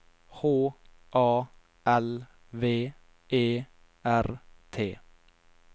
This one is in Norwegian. H A L V E R T